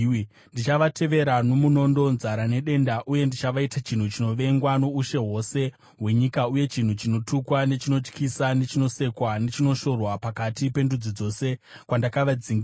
Ndichavatevera nomunondo, nzara nedenda uye ndichavaita chinhu chinovengwa noushe hwose hwenyika uye chinhu chinotukwa, nechinotyisa, nechinosekwa, nechinoshorwa pakati pendudzi dzose kwandakavadzingira.